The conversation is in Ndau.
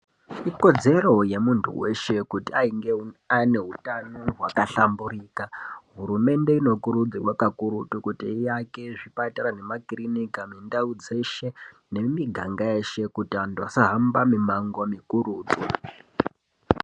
Ikodzero yemunhu weshe kuti ainge ane hutano hwakahlamburika. Hurumende inokurudzirwa kakurutu kuti iake zvipatara nemakirinika mundau dzeshe nemumiganga yeshe kuti anhu asahamba mimango mikurutu.